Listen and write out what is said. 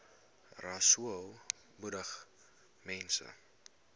rasool moedig mense